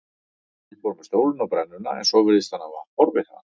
Ég fór með stólinn á brennuna en svo virðist hann hafa horfið þaðan.